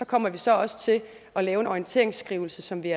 kommer vi så også til at lave en orienteringsskrivelse som vi